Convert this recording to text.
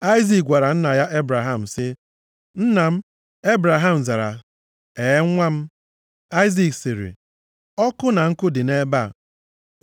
Aịzik gwara nna ya Ebraham sị, “Nna m.” Ebraham zara, “Ehee, nwa m.” Aịzik sịrị, “Ọkụ na nkụ dị nʼebe a,